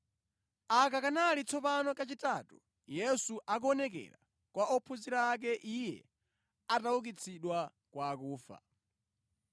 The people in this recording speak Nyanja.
Aka kanali tsopano kachitatu Yesu akuonekera kwa ophunzira ake Iye ataukitsidwa kwa akufa.